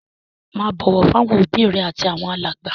Máa bọ̀wọ̀ fáwọn òbí rẹ àtàwọn alàgbà.